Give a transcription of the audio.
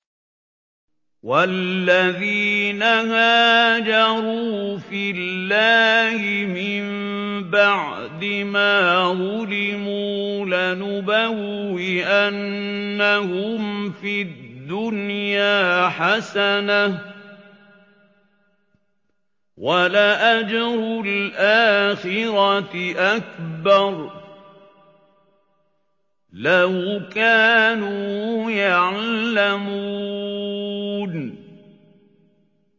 وَالَّذِينَ هَاجَرُوا فِي اللَّهِ مِن بَعْدِ مَا ظُلِمُوا لَنُبَوِّئَنَّهُمْ فِي الدُّنْيَا حَسَنَةً ۖ وَلَأَجْرُ الْآخِرَةِ أَكْبَرُ ۚ لَوْ كَانُوا يَعْلَمُونَ